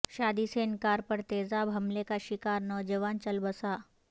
شادی سے انکار پر تیزاب حملے کا شکار نوجوان چل بسا